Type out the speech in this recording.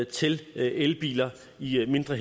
til elbiler i mindre